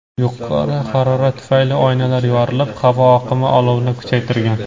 Yuqori harorat tufayli oynalar yorilib, havo oqimi olovni kuchaytirgan.